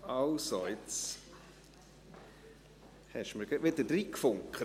Also, jetzt haben Sie mir wieder hineingefunkt.